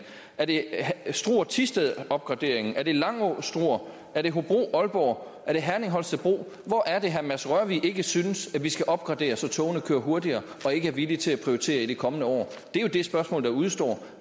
er det struer thisted opgraderingen er det langå struer er det hobro aalborg er det herning holstebro hvor er det herre mads rørvig ikke synes at vi skal opgradere så togene kører hurtigere og ikke er villig til at prioritere i de kommende år det er jo de spørgsmål der udestår